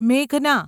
મેઘના